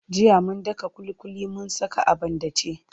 Jiya mun daka ƙuliƙuli mun saka a banɗace.